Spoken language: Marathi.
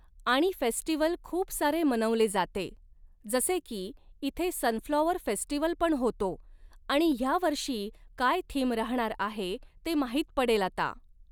आणि फेस्टिव्हल खूप सारे मनवले जाते, जसे की इथे सनफ्लॉवर फेस्टिव्हल पण होतो आणि ह्यावर्षी काय थीम राहणार आहे ते माहीत पडेल आता